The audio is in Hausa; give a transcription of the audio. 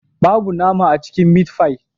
Babu nama a cikin mitfai